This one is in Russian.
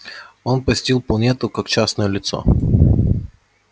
он посетил планету как частное лицо